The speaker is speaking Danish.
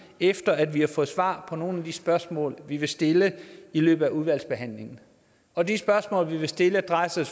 efter at vi har fået svar på nogle af de spørgsmål vi vil stille i løbet af udvalgsbehandlingen og de spørgsmål vi vil stille drejer sig